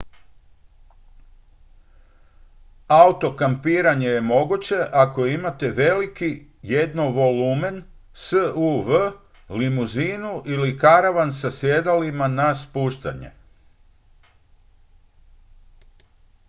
auto-kampiranje je moguće ako imate veliki jednovolumen suv limuzinu ili karavan sa sjedalima na spuštanje